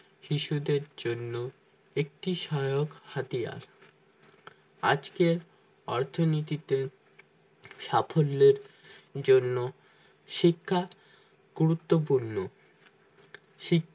শিশুদের জন্য একটি শায়ক হাতিয়ার আজকের অর্থনীতিতে সাফল্যের জন্য শিক্ষা গুরুত্বপূর্ণ শিক্ষা